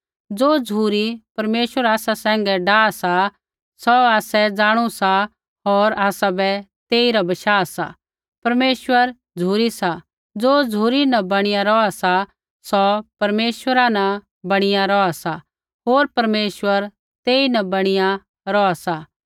ज़ो झ़ुरी परमेश्वर आसा सैंघैं डाह सा सौ आसै जाणु सा होर आसाबै तेइरा बशाह सा परमेश्वर झ़ुरी सा ज़ो झ़ुरी न बणीया रौहा सा सौ परमेश्वर न बणीया रौहा सा होर परमेश्वर तेईन बणीया रौहा सा